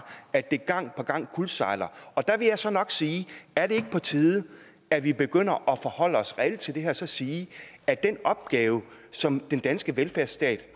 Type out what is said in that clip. at det gang på gang kuldsejler der vil jeg så nok sige er det ikke på tide at vi begynder at forholde os reelt til det her og så sige at den opgave som den danske velfærdsstat